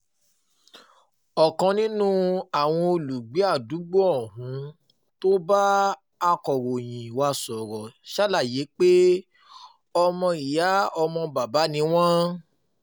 um ọ̀kan nínú àwọn olùgbé àdúgbò ohun tó bá akọ̀ròyìn um wa sọ̀rọ̀ ṣàlàyé pé ọmọ ìyá ọmọ bàbá ni wọ́n